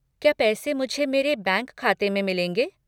क्या पैसे मुझे मेरे बैंक खाते में मिलेंगे?